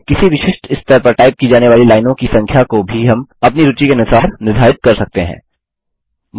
किसी विशिष्ट स्तर पर टाइप की जाने वाली लाइनों की संख्या को भी हम अपनी रूचि के अनुसार निर्धारित कर सकते हैं